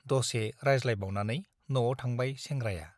दसे रायज्लायबावनानै न'आव थांबाय सेंग्राया।